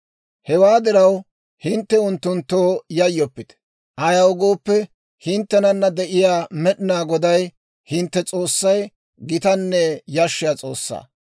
«Hewaa diraw, hintte unttunttoo yayyoppite; ayaw gooppe, hinttenana de'iyaa Med'inaa Goday, hintte S'oossay, gitanne yashshiyaa S'oossaa.